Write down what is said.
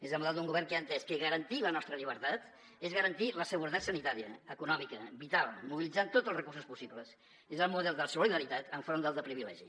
és el model d’un govern que ha entès que garantir la nostra llibertat és garantir la seguretat sanitària econòmica vital mobilitzant tots els recursos possibles és el model de la solidaritat enfront del de privilegi